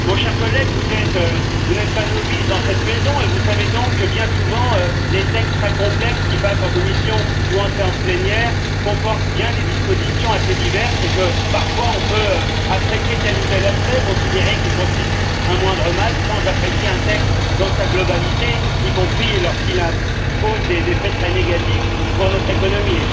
Mon cher collègue, vous n'êtes pas novice dans cette maison et vous savez donc que, bien souvent, les textes très complexes qui passent en commission ou en séance plénière comportent bien des dispositions assez diverses et que, parfois, on peut apprécier tel ou tel aspect, considérer qu'il constitue un moindre mal, sans apprécier un texte dans sa globalité, y compris lorsqu'il impose des effets très négatifs pour notre économie.